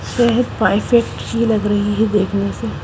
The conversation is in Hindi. पेट की लग रही है देखने से .